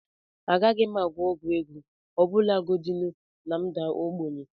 Agaghị m agwọ ọgwụ ego ọbụlagodi na m daa ogbenye